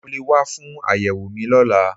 Mo lè wá fún àyẹ̀wò mi lọ́la